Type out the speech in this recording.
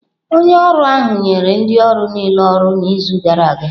Onye ahụ nyere ndị ọrụ niile ọrụ n'izu gara aga.